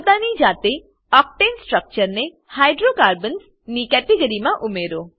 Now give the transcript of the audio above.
પોતાની જાતે octane structure ને હાઇડ્રોકાર્બન્સ ની કેટેગરીમાં ઉમેરો